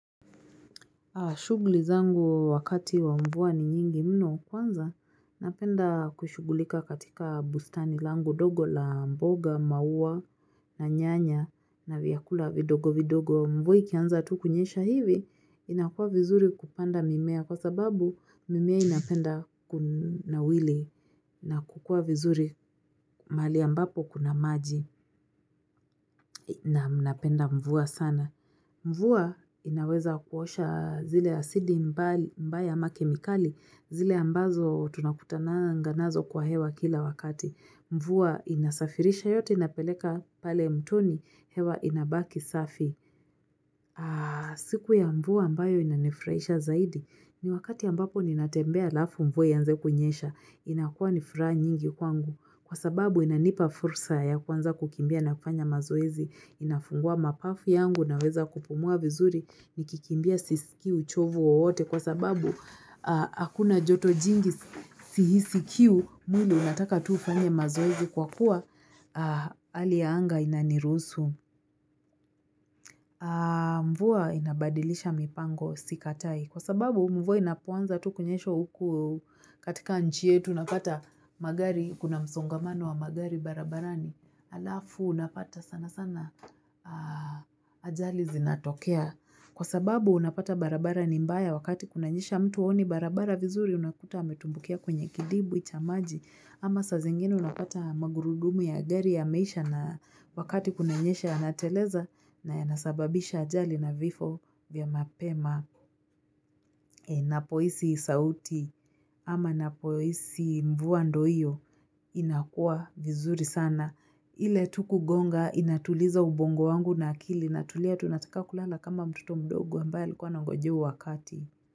Shugli zangu wakati wa mvua ni nyingi mno kwanza, napenda kushugulika katika bustani langu ndogo la mboga, maua na nyanya na vyakula vidogo vidogo. Mvua ikianza tu kunyesha hivi, inakua vizuri kupanda mimea kwa sababu mimea inapenda kunawili na kukua vizuri mali ambapo kuna maji naam napenda mvua sana. Mvua inaweza kuosha zile asidi mbaya ama kemikali zile ambazo tunakutananga nazo kwa hewa kila wakati. Mvua inasafirisha yote inapeleka pale mtoni hewa inabaki safi. Siku ya mvua ambayo inanifurahisha zaidi ni wakati ambapo ninatembea alafu mvua ianze kunyesha inakuwa nifuraha nyingi kwangu. Kwa sababu inanipa fursa ya kuanza kukimbia na kufanya mazoezi inafungua mapafu yangu naweza kupumua vizuri nikikimbia sisikii uchovu wowote. Kwa sababu hakuna joto jingi sihisi kiu mwili unataka tu ufanye mazoezi kwa kuwa hali ya anga inaniruhusu. Mvua inabadilisha mipango sikatai. Kwa sababu mvua inapoanza tu kunyesha huku katika nchie yetu unapata magari kuna msongamano wa magari barabarani Alafu unapata sana sana ajali zinatokea Kwa sababu unapata barabara nimbaya wakati kunanyesha mtu haoni barabara vizuri unakuta ametumbukia kwenye kidibwi cha maji ama saa zingine unapata magurudumu ya gari yameisha na wakati kunanyesha yanateleza na yanasababisha ajali na vifo vya mapema napoisi sauti ama napoisi mvua ndo hiyo inakua vizuri sana. Ile tu kugonga inatuliza ubongo wangu na akili inatulia tu unataka kulala kama mtoto mdogo ambae likuwa anangojea huo wakati.